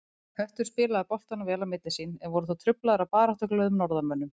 Höttur spilaði boltanum vel á milli sín, en voru þó truflaðir af baráttuglöðum norðanmönnum.